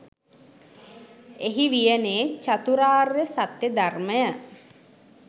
එහි වියනේ චතුරාර්ය සත්‍ය ධර්මය